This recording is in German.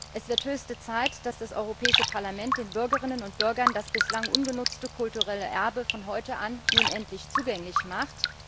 Es wird höchste Zeit, dass das Europäische Parlament den Bürgerinnen und Bürgern das bislang ungenutzte kulturelle Erbe von heute an nun endlich zugänglich macht.